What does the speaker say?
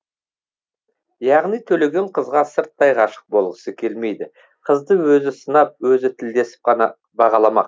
яғни төлеген қызға сырттай ғашық болғысы келмейді қызды өзі сынап өзі тілдесіп қана бағаламақ